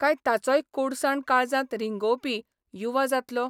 काय ताचोय कोडसाण काळजांत रिंगोवपी 'युवा 'जातलो?